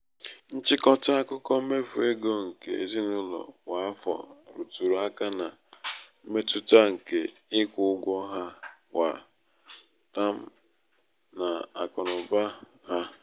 nchịkọta akụkọ mmefu égo nke ezinaụlọ kwa afọ rụtụrụ aka na mmetụta nke ịkwụ ụgwọ ha kwa tam n'akụnaụba n'akụnaụba ha.